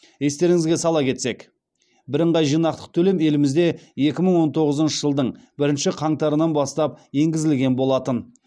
естеріңізге сала кетсек бірыңғай жинақтық төлем елімізде екі мың он тоғызыншы жылдың бірінші қаңтарынан бастап енгізілген болатын